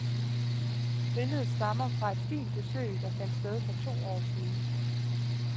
Billedet stammer fra et fint besøg, der fandt sted for to år siden.